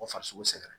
O farisogo sɛgɛn